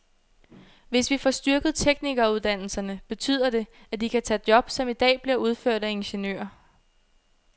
Hvis vi får styrket teknikeruddannelserne, betyder det, at de kan tage job, som i dag bliver udført af ingeniører.